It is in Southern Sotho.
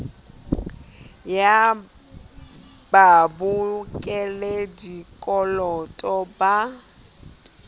ya babokelli ba dikoloto ba